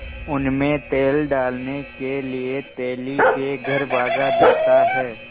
उनमें तेल डालने के लिए तेली के घर भागा जाता है